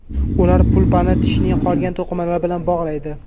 Ular pulpani tishning qolgan to‘qimalari bilan bog‘laydi.